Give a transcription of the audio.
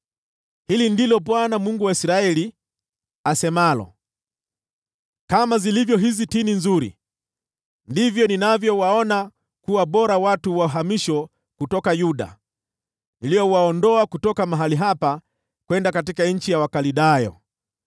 “Hili ndilo Bwana , Mungu wa Israeli, asemalo: ‘Kama zilivyo hizi tini nzuri, ndivyo ninavyowaona kuwa bora watu wa uhamisho kutoka Yuda, niliowaondoa kutoka mahali hapa kwenda katika nchi ya Wakaldayo.